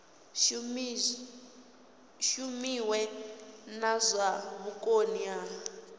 shumiwe na zwa vhukoni ha